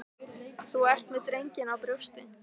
Þú ert með drenginn á brjósti.